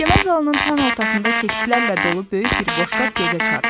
Məhkəmə zalının tən ortasında kekslərlə dolu böyük bir boşqab gözə çarpırdı.